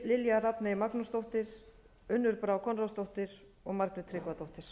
lilja rafney magnúsdóttir unnur brá konráðsdóttir og margrét tryggvadóttir